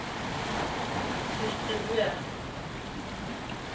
distribuer